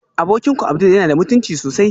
Abokinku abdul yana da mutunci sosai